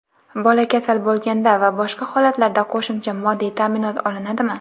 Bola kasal bo‘lganda va boshqa holatlarda qo‘shimcha moddiy taʼminot olinadimi?.